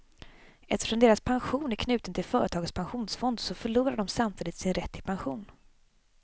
Eftersom deras pension är knuten till företagets pensionsfond, så förlorar de samtidigt sin rätt till pension.